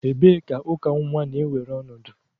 Ebee ka uka nwa na-ewere ọnọdụ?